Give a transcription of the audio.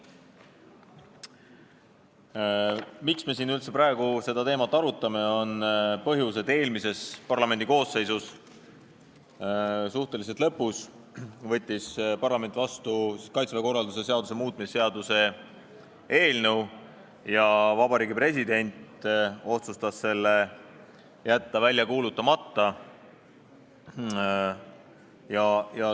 Põhjus, miks me üldse praegu seda teemat arutame, on see, et eelmine parlamendikoosseis võttis suhteliselt oma tööaja lõpus vastu Kaitseväe korralduse seaduse muutmise seaduse ja Vabariigi President otsustas jätta selle välja kuulutamata.